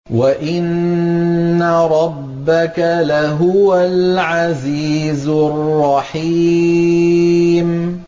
وَإِنَّ رَبَّكَ لَهُوَ الْعَزِيزُ الرَّحِيمُ